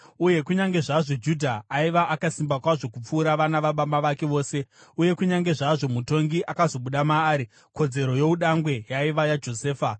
Uye kunyange zvazvo Judha aiva akasimba kwazvo kupfuura vana vababa vake vose, uye kunyange zvazvo mutongi akazobuda maari, kodzero youdangwe yaiva yaJosefa.)